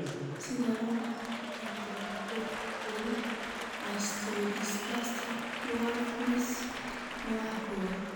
Sidee loo dhaxlaa microcephalic osteodysplastic dwarfism nooca kowaad (MOPD koow)?